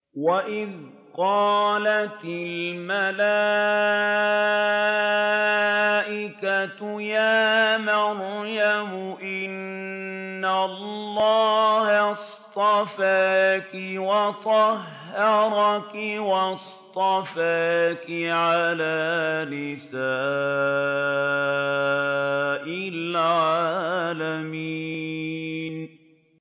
وَإِذْ قَالَتِ الْمَلَائِكَةُ يَا مَرْيَمُ إِنَّ اللَّهَ اصْطَفَاكِ وَطَهَّرَكِ وَاصْطَفَاكِ عَلَىٰ نِسَاءِ الْعَالَمِينَ